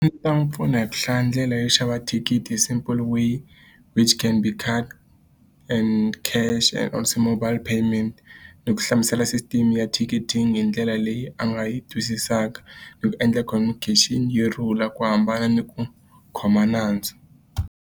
A ndzi ta n'wi pfuna hi ku hlaya ndlela yo xava thikithi simple way which can be mobile payment. Ni ku hlamusela system ya thikithi hi ndlela leyi a nga yi twisisaka. Ni ku endla communication yi rhula ku hambana ni ku khoma nandzu.